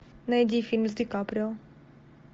найди фильм с ди каприо